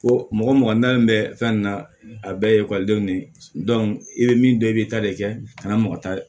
Ko mɔgɔ mɔgɔ nanen bɛ fɛn na a bɛɛ ye ekɔlidenw de ye i bɛ min dɔn i bɛ ta de kɛ kana mɔgɔ ta